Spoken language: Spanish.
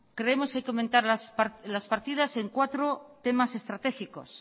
creemos que hay que aumentar las partidas en cuatro temas estratégicos